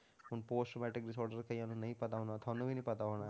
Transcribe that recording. ਹੁਣ post matric disorder ਕਈਆਂ ਨੂੰ ਨਹੀਂ ਪਤਾ ਹੁੰਦਾ, ਤੁਹਾਨੂੰ ਵੀ ਨੀ ਪਤਾ ਹੋਣਾ ਹੈ,